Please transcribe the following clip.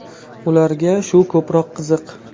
Ularga shu ko‘proq qiziq.